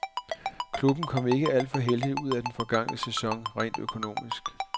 Klubben kom ikke alt for heldigt ud af den forgangne sæson rent økonomisk.